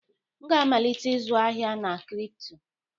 M ga-amalite ịzụ ahịa na kripto.